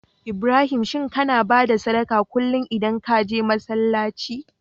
Ibrahim shin kAna bada sadaqah kullun idan kaje masalaci?